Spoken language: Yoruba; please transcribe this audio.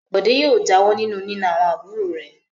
Bọ̀dé yóò jáwọ́ nínú nína àwọn àbúrò rẹ̀.